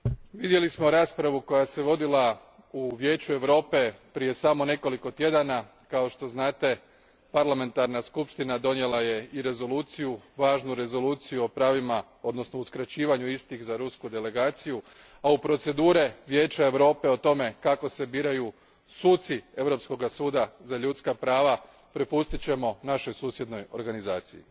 Gospodine predsjedniče, vidjeli smo raspravu koja se vodila u Vijeću Europe prije samo nekoliko tjedana. Kao što znate Parlamentarna skupština je donijela i Rezoluciju, važnu Rezoluciju o pravima, odnosno uskraćivanju istih za rusku delegaciju, a u procedure Vijeća Europe o tome kako se biraju suci Europskoga suda za ljudska prava prepustit ćemo našoj susjednoj organizaciji.